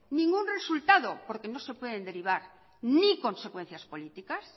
ningún resultado porque no se pueden derivar ni consecuencias políticas